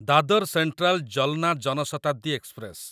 Dadar central Jalna Jan Shatabdi express